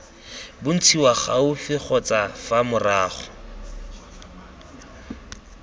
bontshiwa gaufi kgotsa fa morago